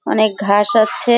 অনেক ঘাস আছে-এ।